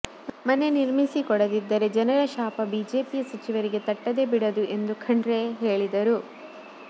ಮನೆ ನಿರ್ಮಿಸಿಕೊಡದಿದ್ದರೆ ಜನರ ಶಾಪ ಬಿಜೆಪಿಯ ಸಚಿವರಿಗೆ ತಟ್ಟದೇ ಬಿಡದು ಎಂದು ಖಂಡ್ರೆ ಹೇಳಿದರು